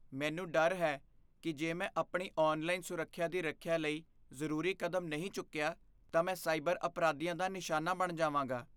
ਮੈਨੂੰ ਡਰ ਹੈ ਕਿ ਜੇ ਮੈਂ ਆਪਣੀ ਔਨਲਾਈਨ ਸੁਰੱਖਿਆ ਦੀ ਰੱਖਿਆ ਲਈ ਜ਼ਰੂਰੀ ਕਦਮ ਨਹੀਂ ਚੁੱਕਿਆ, ਤਾਂ ਮੈਂ ਸਾਈਬਰ ਅਪਰਾਧੀਆਂ ਦਾ ਨਿਸ਼ਾਨਾ ਬਣ ਜਾਵਾਂਗਾ।